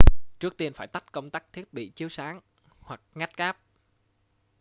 trước tiên phải tắt công tắc thiết bị chiếu sáng hoặc ngắt cáp